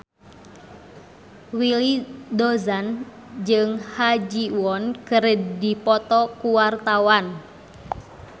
Willy Dozan jeung Ha Ji Won keur dipoto ku wartawan